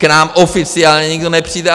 K nám oficiálně nikdo nepřijde.